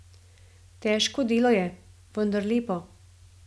Težko delo je, vendar lepo.